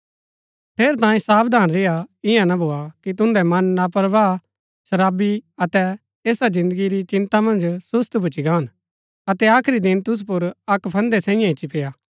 ठेरैतांये सावधान रेआ ईयां ना भोआ कि तुन्दै मन लापरवाह शराबी अतै ऐसा जिन्दगी री चिन्ता मन्ज सुस्त भूच्ची गान अतै आखरी दिन तूसु पुर अक्क फंदै सैईऐ ईच्ची पेआ